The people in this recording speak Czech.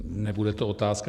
Nebude to otázka.